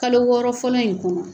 Kalo wɔɔrɔ fɔlɔ in kɔnɔ